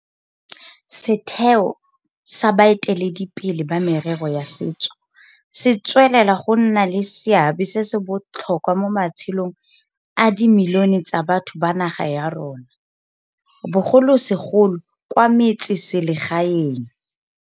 Setheo sa baeteledipele ba merero ya setso se tswelela go nna le seabe se se botlhokwa mo matshelong a dimilione tsa batho ba naga ya rona, bogolosegolo kwa metseselegaeng.